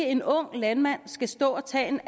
en ung landmand skal stå og tage en